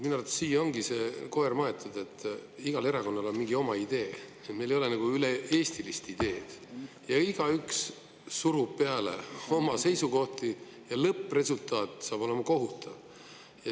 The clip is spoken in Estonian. Minu arvates siia ongi see koer maetud, et igal erakonnal on mingi oma idee, meil ei ole nagu üle-eestilist ideed ja igaüks surub peale oma seisukohti ja lõppresultaat saab olema kohutav.